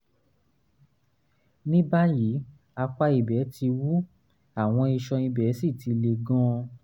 ní báyìí apá ibẹ̀ ti ń wú àwọn iṣan ibẹ̀ sì ti le gan-an